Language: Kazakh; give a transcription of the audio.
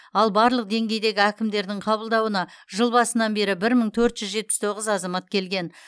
ал барлық деңгейдегі әкімдердің қабылдауына жыл басынан бері бір мың төрт жүз жетпіс тоғыз азамат келген